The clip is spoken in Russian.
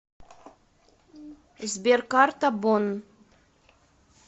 сбер карта бонн